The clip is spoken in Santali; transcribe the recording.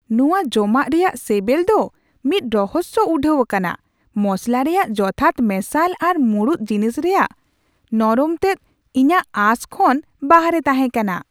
ᱱᱚᱶᱟ ᱡᱚᱢᱟᱜ ᱨᱮᱭᱟᱜ ᱥᱮᱵᱮᱞ ᱫᱚ ᱢᱤᱫ ᱨᱚᱦᱚᱥᱭᱚ ᱩᱰᱷᱟᱹᱣ ᱠᱟᱱᱟ; ᱢᱚᱥᱞᱟ ᱨᱮᱭᱟᱜ ᱡᱚᱛᱷᱟᱛ ᱢᱮᱥᱟᱞ ᱟᱨ ᱢᱩᱲᱩᱫ ᱡᱤᱱᱤᱥ ᱨᱮᱭᱟᱜ ᱱᱚᱨᱚᱢᱛᱮᱫ ᱤᱧᱟᱹᱜ ᱟᱥ ᱠᱷᱚᱱ ᱵᱟᱨᱦᱮ ᱛᱟᱦᱮᱸᱠᱟᱱᱟ ᱾